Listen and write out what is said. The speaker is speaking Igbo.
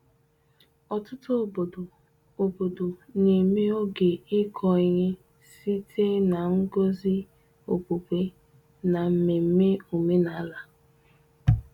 Ọtụtụ obodo obodo na-eme oge ịkọ ihe site na ngọzi okpukpe na mmemme omenala.